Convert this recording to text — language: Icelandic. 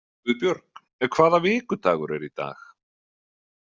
Guðbjörg, hvaða vikudagur er í dag?